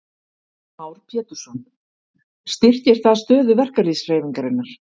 Heimir Már Pétursson: Styrkir það stöðu verkalýðshreyfingarinnar?